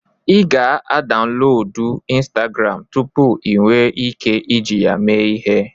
Ị ga-adaunlodu ịnstagram tụpụ ị nwe ike iji ya mee ihe